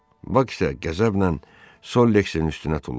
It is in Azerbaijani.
Bak isə qəzəblə Sollexin üstünə tullandı.